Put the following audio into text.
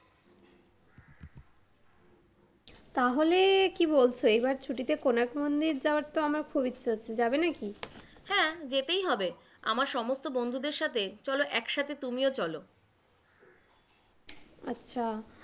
তাহলে কি বলছো? এবার ছুটিতে কোনার্ক মন্দির যাওয়ার তো আমার খুব ইচ্ছা করছে, যাবে নাকি? হ্যাঁ, যেতেই হবে, আমার সমস্ত বন্ধুদের সাথে চলো একসাথে তুমিও চলো, আচ্ছা,